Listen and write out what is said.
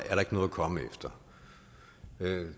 noget at komme efter